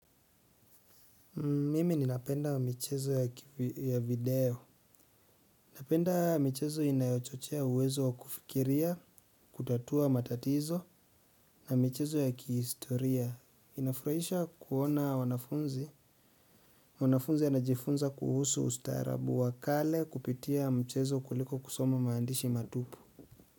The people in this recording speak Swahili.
Mimi ninapenda michezo ya video. Napenda michezo inayochochea uwezo wa kufikiria, kutatua matatizo, na michezo ya kihistoria. Inafurahisha kuona wanafunzi. Wanafunzi wanajifunza kuhusu ustarabu wakale kupitia mchezo kuliko kusoma maandishi matupu.